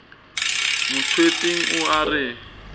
mo tswetseng o a re